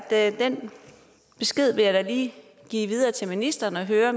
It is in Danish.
at den besked vil jeg da lige give videre til ministeren og høre